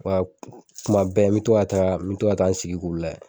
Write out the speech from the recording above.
Wa tuma bɛɛ, n bi to ka taa, n bi to ka taa n sigi k'u lajɛ.